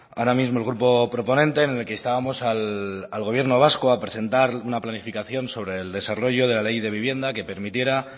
ahora mismo el grupo proponente en el que instábamos al gobierno vasco a presentar una planificación sobre el desarrollo de la ley de vivienda que permitiera